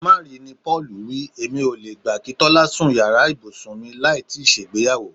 Ká má ri ni Pó̩ò̩lù wí. Èmi ò le gbà kí Tó̩lá sun yàrà ibùsùn mi láì tíì s̩ègbéyàwó.